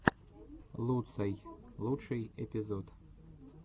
луцай лучший эпизод